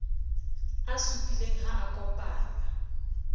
a supileng ha a kopanngwa